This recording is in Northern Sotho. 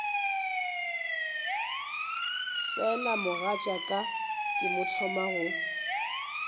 fela mogatšaka ke thoma go